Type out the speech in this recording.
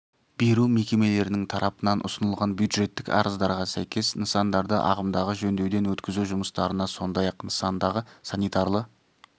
беру мекемелерінің тарапынан ұсынылған бюджеттік арыздарға сәйкес нысандарды ағымдағы жөндеуден өткізу жұмыстарына сондай-ақ нысандағы санитарлы